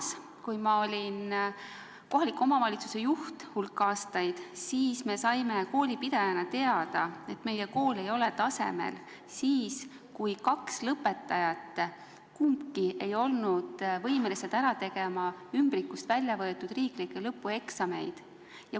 Samas, kui ma olin hulk aastaid kohaliku omavalitsuse juht, siis me saime koolipidajana teada, et meie kool ei ole tasemel, kuna kaks lõpetajat ei olnud võimelised ära tegema ümbrikust välja võetud riiklikke lõpueksameid.